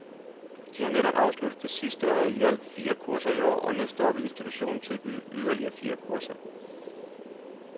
De har netop afsluttet det sidste af i alt fire kurser i år, og næste år vil institutionen tilbyde yderligere fire kurser.